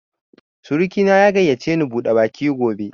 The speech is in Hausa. Surki na ya gayyace ni bude baki gobe